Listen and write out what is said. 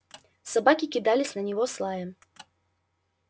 собаки кидались на него с лаем